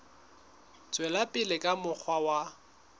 tswela pele ka mokgwa wa